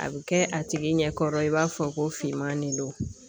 A bɛ kɛ a tigi ɲɛkɔrɔ i b'a fɔ ko finman de don